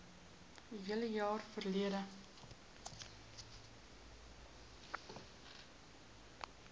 hele jaar verlede